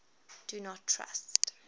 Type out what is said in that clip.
do not trust